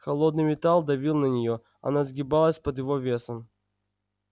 холодный металл давил на нее она сгибалась под его весом